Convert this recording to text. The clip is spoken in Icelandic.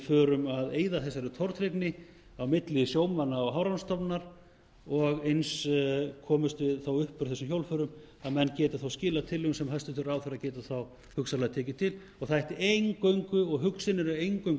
föurm að eyða þessari tortryggni á milli sjómanna og hafrannsóknastofnunar og eins komumst við þá upp úr þessum hjólförum að menn geti þá skilað tillögum sem hæstvirtur ráðherra getur þá hugsanlega tekið til það ætti eingöngu og hugsunin er eingöngu